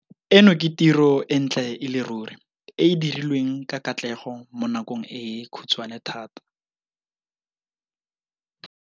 Eno ke tiro e ntle e le ruri e e dirilweng ka katlego mo nakong e khutshwane thata.